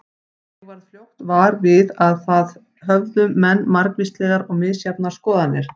Ég varð fljótt var við að þar höfðu menn margvíslegar og misjafnar skoðanir.